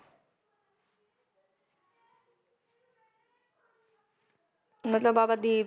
ਮਤਲਬ ਬਾਬਾ ਦੀਪ